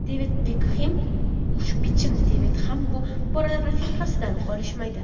Devid Bekxem Xushbichim Devid ham bu borada rafiqasidan qolishmaydi.